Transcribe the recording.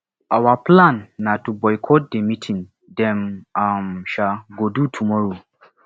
our plan na to boycott the meeting dem um um go do tomorrow